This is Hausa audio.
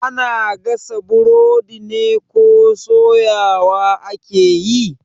Ana gasa burodi ne ko soyawa ake yi?